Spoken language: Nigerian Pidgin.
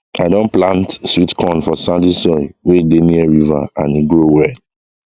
i don plant sweet corn for sandy soil wey dey near river and e grow well